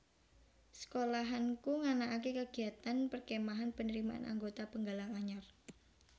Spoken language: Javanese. Sekolahanku nganakake kegiatan perkemahan penerimaan anggota penggalang anyar